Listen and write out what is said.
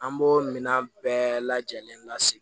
An b'o minɛn bɛɛ lajɛlen lase